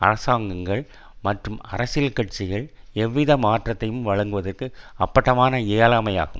அரசாங்கங்கள் மற்றும் அரசியல் கட்சிகள் எவ்வித மாற்றத்தை வழங்குவதற்கு அப்பட்டமான இயலாமை ஆகும்